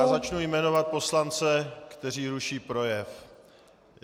Já začnu jmenovat poslance, kteří ruší projev.